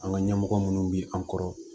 An ka ɲɛmɔgɔ minnu bɛ an kɔrɔ